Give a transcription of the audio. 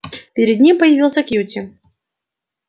перед ним появился кьюти